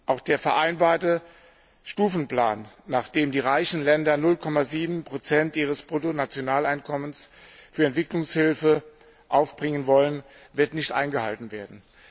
Auch der vereinbarte Stufenplan, nach dem die reichen Länder 0,7 ihres Bruttonationaleinkommens für Entwicklungshilfe aufbringen wollen, wird nicht eingehalten werden.